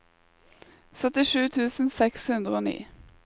syttisju tusen seks hundre og ni